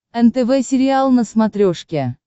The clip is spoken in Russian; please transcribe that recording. нтв сериал на смотрешке